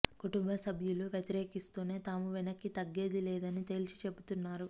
కుటుంబ సభ్యులు వ్యతిరేకిస్తూనే తాము వెనక్కి తగ్గేది లేదని తేల్చి చెబుతున్నారు